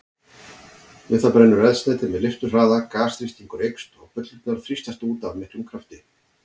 Við það brennur eldsneytið með leifturhraða, gasþrýstingur eykst og bullurnar þrýstast út af miklum krafti.